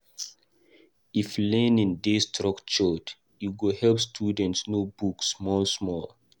If learning dey structured, e go help students know book small small.